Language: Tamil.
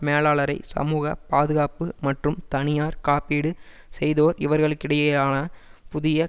மேலாளரை சமூக பாதுகாப்பு மற்றும் தனியார் காப்பீடு செய்தோர் இவர்களுக்கிடையேயான புதிய